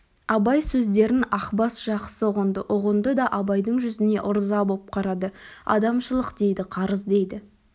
абай сөздерін ақбас жақсы ұғынды ұғынды да абайдың жүзіне ырза боп қарады адамшылық дейді қарыз дейді